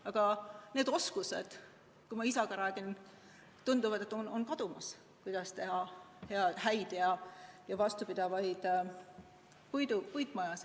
Aga kui ma isaga räägin, siis tundub, et need oskused, kuidas teha häid ja vastupidavaid puitmajasid, on kadumas.